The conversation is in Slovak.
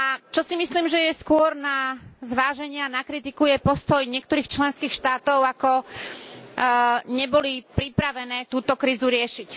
Čo si myslím, že je skôr na zváženie a na kritiku, je postoj niektorých členských štátov, ako neboli pripravené túto krízu riešiť.